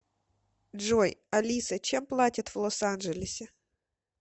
джой алиса чем платят в лос анджелесе